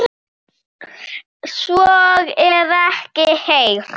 Elsku besta amma Laufey.